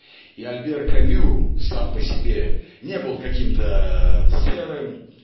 и альбер камю сам по себе не был каким-то серым